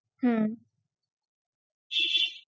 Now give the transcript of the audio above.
হম